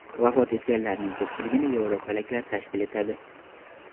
Vafot etganlarning ko‘pchiligini yevropaliklar tashkil etadi.